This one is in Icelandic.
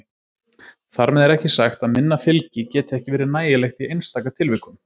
Þar með er ekki sagt að minna fylgi geti ekki verið nægilegt í einstaka tilvikum.